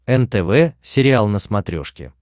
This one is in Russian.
нтв сериал на смотрешке